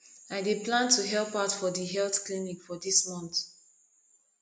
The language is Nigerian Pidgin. i dey plan to help out for di health clinic for dis month